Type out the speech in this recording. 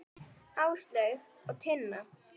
Áslaug og Tinna.